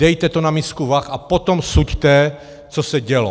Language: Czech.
Dejte to na misku vah, a potom suďte, co se dělo.